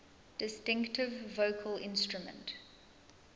distinctive vocal instrument